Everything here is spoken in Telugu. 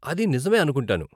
అది నిజమే అనుకుంటాను.